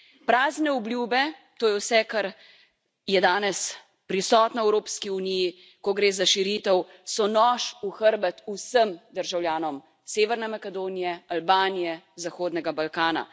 Prazne obljube, to je vse, kar je danes prisotno v Evropski uniji, ko gre za širitev, so nož v hrbet vsem državljanom Severne Makedonije, Albanije, Zahodnega Balkana.